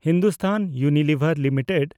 Hindustan Unilever Limited